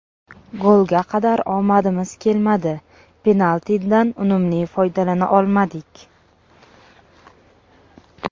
Golga qadar omadimiz kelmadi, penaltidan unumli foydalana olmadik.